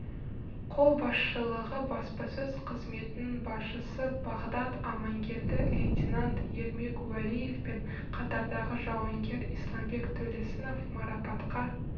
қолбасшылығы баспасөз қызметінің басшысы бағдат амангелді лейтенант ермек уәлиев пен қатардағы жауынгер исламбек төлесінов марапатқа